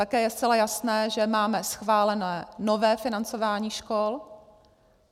Také je zcela jasné, že máme schválené nové financování škol.